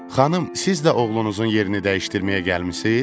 Xanım, siz də oğlunuzun yerini dəyişdirməyə gəlmisiz?